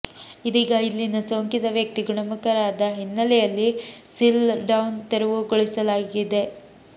ಇದೀಗ ಇಲ್ಲಿನ ಸೋಂಕಿತ ವ್ಯಕ್ತಿ ಗುಣಮುಖರಾದ ಹಿನ್ನಲೆಯಲ್ಲಿ ಸೀಲ್ಡ್ಡೌನ್ ತೆರವು ಗೊಳಿಸಲಾಗಿದೆ